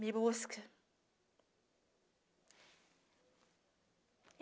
Me busca.